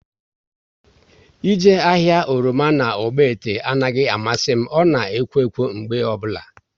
Ị jee ahịa oroma na Ogbete anaghị amasị m, ọ na ekwo ekwo mgbe ọbụla